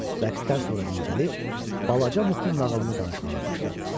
Rəqsdən sonra dincəlib, balaca Mukun nağılını danışmağa başladı.